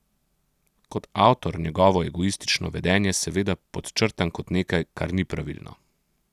Kot avtor njegovo egoistično vedenje seveda podčrtam kot nekaj, kar ni pravilno.